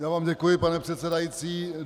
Já vám děkuji, pane předsedající.